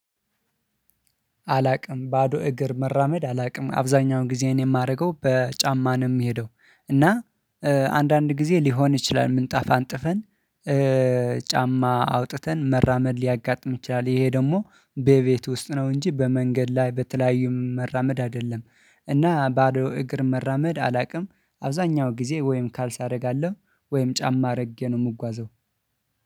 አላውቅም ባዶ እግር መራመድ አላውቅም አብዛኛውን ጊዜ የማደርገው በጫማ ነው የምሄደው። እና አንዳንድ ጊዜ ሊሆን ይችላል ምንጣፍ አንጥፈን ጫማ አውጥተን መራመድ ሊያጋጥም ይችላል። ይሄ ደግሞ በቤት ውስጥ ነው እንጂ በመንገድ ላይ በተለያዩ መራመድ አይደለም እና ባዶ እግር መራመድ አላውቅም። አብዛኛው ጊዜ ወይም ካልሲ አደርጋለሁ ወይም ጫማ አድርጌ ነው የምጓዘው።